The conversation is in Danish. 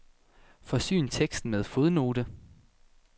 Forsyn teksten med fodnote.